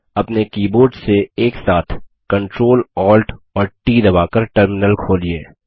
अपने कीबोर्ड से एक साथ Ctrl Alt और ट दबा कर टर्मिनल खोलिए